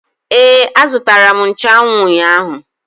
Ee, azụtara m nchụanwụ ụnyaahụ